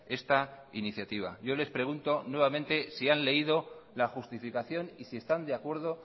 esta iniciativa yo les pregunto nuevamente si han leído la justificación y si están de acuerdo